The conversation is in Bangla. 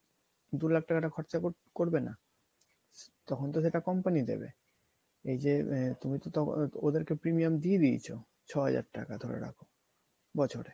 দু লাখ টাকাটা খরচা করবেনা তখন তো সেটা company দেবে এইযে আহ তুমি তো তখন ওদেরকে premium দিয়ে দিয়েছো ছয় হাজার টাকা ধরে রাখো বছরে।